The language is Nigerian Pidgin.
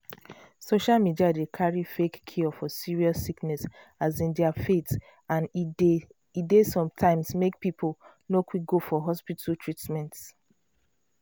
social media dey carry fake cure for serious sickness as in their faith and e dey sometimes make people no quick go for hospital treatment.